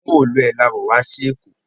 Móòluẹ̀ la wọ̀ wá sí èkó